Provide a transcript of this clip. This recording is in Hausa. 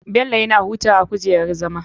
Bello yana hutawa a gujerar zama.